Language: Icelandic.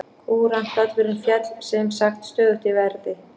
Kúrantdalurinn féll sem sagt stöðugt í verði.